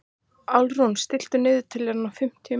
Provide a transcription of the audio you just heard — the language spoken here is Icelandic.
Álfrún, stilltu niðurteljara á fimmtíu mínútur.